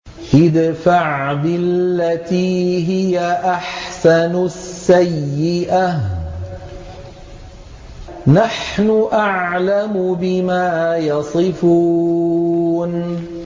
ادْفَعْ بِالَّتِي هِيَ أَحْسَنُ السَّيِّئَةَ ۚ نَحْنُ أَعْلَمُ بِمَا يَصِفُونَ